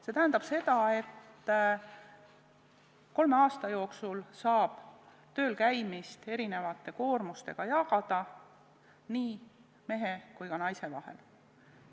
See tähendab, et kolme aasta jooksul saab töölkäimist eri koormusega jagada mehe ja naise vahel.